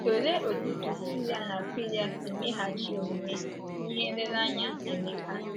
Olee otú Prisila na Akwịla si meghachi omume n’ihe nlereanya Emeka?